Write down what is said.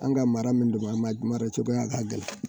An ka mara min don an ma dira coya ka gɛlɛn.